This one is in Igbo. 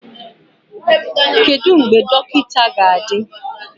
Kedu mgbe dọkịta ga-adị?